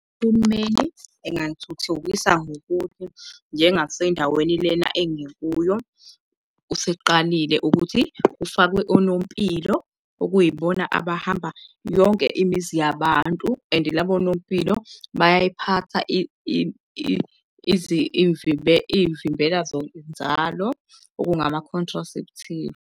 Uhulumeni engayithuthukisa ngokuthi njengasendaweni lena engikuyo, useqalile ukuthi kufakwe onompilo okuyibona abahamba yonke imizi yabantu and labo onompilo bayayiphatha iy'vimbela zokunzalo okungama-contraceptive.